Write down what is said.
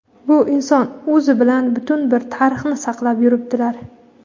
bu inson o‘zi bilan butun bir tarixni saqlab yuribdilar.